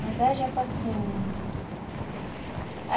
Mas haja paciência.